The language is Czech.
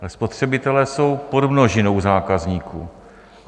Ale spotřebitelé jsou podmnožinou zákazníků.